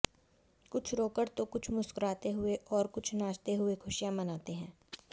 कुछ रोकर तो कुछ मुस्कुराते हुए और कुछ नाचते हुए खुशियां मनाते हैं